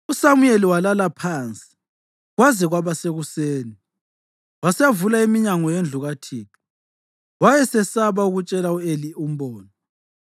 USamuyeli walala phansi kwaze kwaba sekuseni wasevula iminyango yendlu kaThixo. Wayesesaba ukutshela u-Eli umbono,